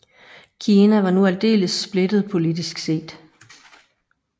Kina var nu aldeles splittet politisk set